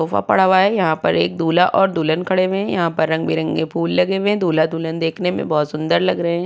Sofa पड़ा हुआ है। यहाँ पर एक दूल्हा और दुल्हन खड़े हुए। यहाँ पर रंग-बिरंगे फूल लगे हुए हैं। दूल्हा-दुल्हन देखने मे बोहोत सुंदर लग रहे हैं।